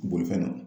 Bolifɛn na